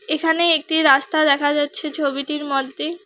এখানে একটি রাস্তা দেখা যাচ্ছে ছবিটির মধ্যে।